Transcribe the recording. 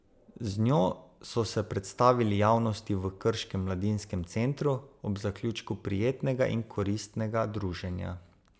Z njo so se predstavili javnosti v krškem Mladinskem centru ob zaključku prijetnega in koristnega druženja.